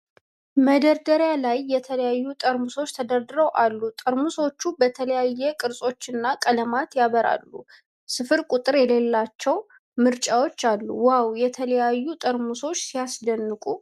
መደርደሪያ ላይ የተለያዩ ጠርሙሶች ተደርድረው አሉ። ጠርሙሶቹ በተለያዩ ቅርጾችና ቀለማት ያበራሉ። ስፍር ቁጥር የሌላቸው ምርጫዎች አሉ። ዋው! የተለያዩ ጠርሙሶች ሲያስደንቁ!